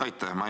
Aitäh!